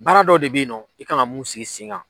Baara dɔ de be ye nɔ i kan ga mun sigi sen kan